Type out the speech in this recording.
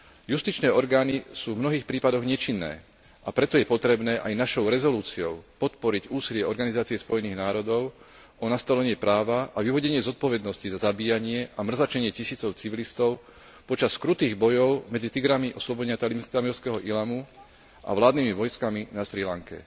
Justičné orgány sú v mnohých prípadoch nečinné, a preto je potrebné aj našou rezolúciou podporiť úsilie Organizácie Spojených národov o nastolenie práva a vyvodenie zodpovednosti za zabíjanie a mrzačenie tisícov civilistov počas krutých bojov medzi Tigrami oslobodenia tamilského Ílamu a vládnymi vojskami na Srí Lanke.